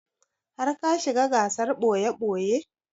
Har ka shiga gasar ɓoye-ɓoye?